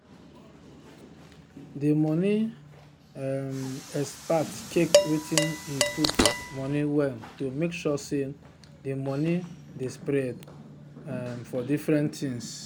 di money um expert check wetin e put money well to make sure say the money dey spread um for different things.